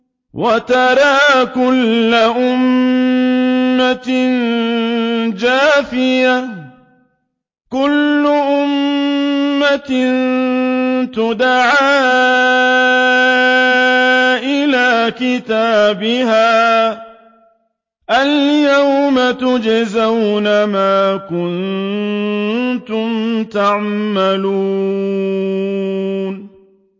وَتَرَىٰ كُلَّ أُمَّةٍ جَاثِيَةً ۚ كُلُّ أُمَّةٍ تُدْعَىٰ إِلَىٰ كِتَابِهَا الْيَوْمَ تُجْزَوْنَ مَا كُنتُمْ تَعْمَلُونَ